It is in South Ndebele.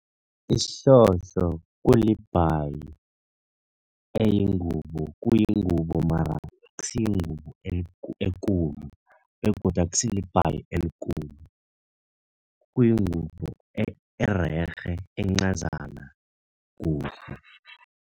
Isihlohlo kulibhayi elingubo. Kuyingubo mara akusiyingubo ekulu begodu akusibhayi elikulu, kuyingubo ererhe encazana kuhle.